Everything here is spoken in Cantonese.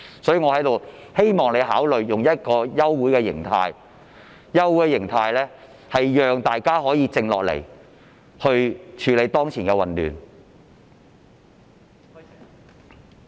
所以，我希望你考慮以休會形式，讓大家可以靜下來處理當前的混亂。